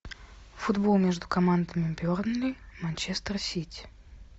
футбол между командами бернли манчестер сити